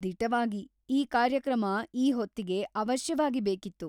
ದಿಟವಾಗಿ ಈ ಕಾರ್ಯಕ್ರಮ ಈ ಹೊತ್ತಿಗೆ ಅವಶ್ಯವಾಗಿ ಬೇಕಿತ್ತು.